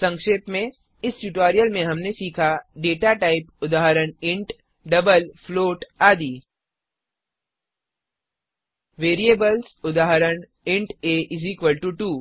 संक्षेप में इस ट्यूटोरियल में हमने सीखा डेटा टाइप उदाहरण इंट डबल फ्लोट आदि वेरिएबल्स उदाहरण इंट a2